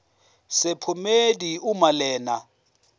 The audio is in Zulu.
sephomedi uma lena